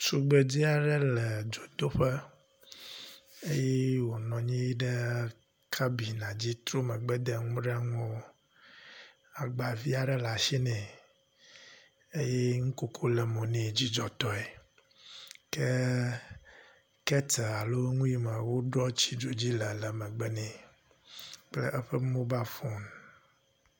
Tugbedzɛ aɖe le dzodoƒe eye wònɔ anyi ɖe kabina dzi tro megbe de nuɖanuwo. Agbavia ɖe le ashi nɛ eye nukoko le mo nɛ dzidzɔtɔe. Ke keteli alo ŋu yi me woɖoa tsi dzo dzi le le megbe nɛ kple eƒe mobal foni.